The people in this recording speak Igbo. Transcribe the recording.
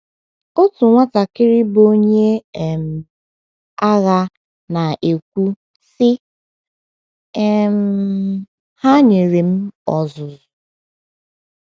Otu nwatakịrị bụ́ onye um agha na - ekwu, sị: “ um Ha nyere m ọzụzụ.